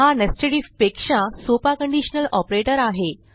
हा nested I F पेक्षा सोपा कंडिशनल ऑपरेटर आहे